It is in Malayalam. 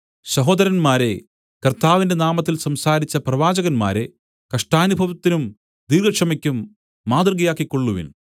സഹോദരന്മാരേ കർത്താവിന്റെ നാമത്തിൽ സംസാരിച്ച പ്രവാചകന്മാരെ കഷ്ടാനുഭവത്തിനും ദീർഘക്ഷമയ്ക്കും മാതൃകയാക്കികൊള്ളുവിൻ